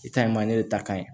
I ta in ma ne de ta ka ɲi